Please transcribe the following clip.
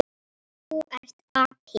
Þú ert api.